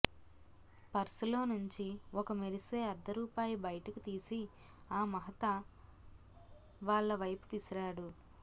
పర్సులో నుంచి ఒక మెరిసే అర్ధరూపాయి బైటకు తీసి ఆ మహతా వాళ్ల వైపు విసిరాడు